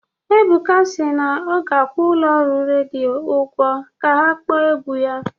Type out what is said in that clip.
Ebuka si na ọ ga-akwụ ụlọ ọrụ redio ụgwọ ka ha kpọọ egwu ya